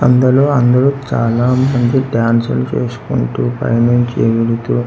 అందులో అందరు చాలా మంది డాన్సు లు చేసుకుంటూ పైనుంచి ఎగురుతూ--